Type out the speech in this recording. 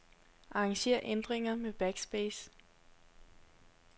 Arranger ændringer med backspace.